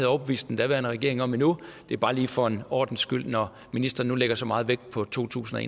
overbevist den daværende regering om endnu det er bare lige for en ordens skyld når ministeren nu lægger så meget vægt på totusinde